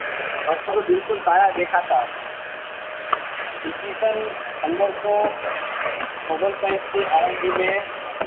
અક્ષર બિલ્કૂલ કાળા દેખાતા હતા ઇસવીસન પંદરસો ઓગણસાહીઠ થીઆ ને